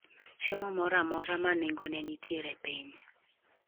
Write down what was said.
Chiemo moro amora ma nengone nitiere piny